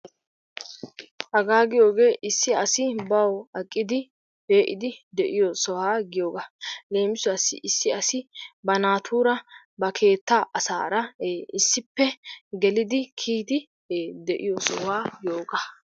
Hagaa giyoogee issi asi bawu aqqidi pee'idi diyo sohuwaa giyoogaa leemissuwaassi issi asi ba naatuura ba keettaa asaara issippe geliddi kiyidi ee de'iyo sohuwaa giyoogaa.